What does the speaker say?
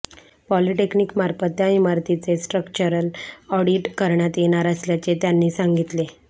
पॉलिटेक्निकमार्फत त्या इमारतीचे structural audit करण्यात येणार असल्याचे त्यांनी सांगितले